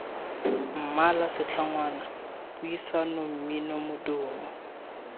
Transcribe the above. mmala setlhogwana puisano mmino modumo